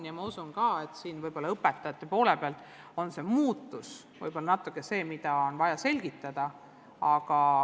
Ja ma usun ka, et õpetajate poole pealt vajab see muutus võib-olla natukene pikemat selgitamist.